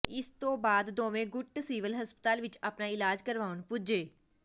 ਇਸ ਤੋਂ ਬਾਅਦ ਦੋਵੇਂ ਗੁੱਟ ਸਿਵਲ ਹਸਪਤਾਲ ਵਿੱਚ ਆਪਣਾ ਇਲਾਜ ਕਰਵਾਉਣ ਪੁੱਜੇ